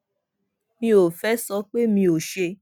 mi ò fé sọ pé mi ò ṣe